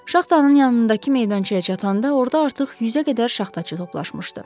Şaxtanın yanındakı meydançaya çatanda orda artıq yüzə qədər şaxtaçı toplaşmışdı.